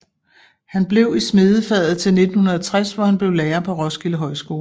Han blev i smedefaget til 1960 hvor han blev lærer på Roskilde Højskole